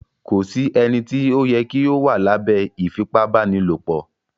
Kò sí ènìtí o yẹ kí o wà lábẹ ífipabanilopo